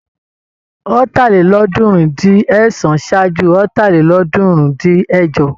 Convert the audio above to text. Ọ̀tàlélọ́ọ̀ọ́dúnrún-dín-ẹ̀sán ṣájú Ọ̀tàlélọ́ọ̀ọ́dúnrún-dín-ẹ̀jọ.